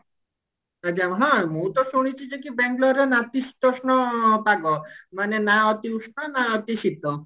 ହଁ ମୁଁ ତ ଶୁଣିଛି ଯେ କି ବେଙ୍ଗେଲୋର ରେ ନାତିସିତୋଷ୍ଣ ପାଗ ମାନେ ନା ଅତି ଉଷ୍ଣ ନା ଅତି ଶୀତ